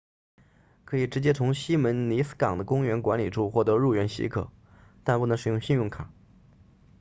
可以直接从希门尼斯港 puerto jiménez 的公园管理处获得入园许可但不能使用信用卡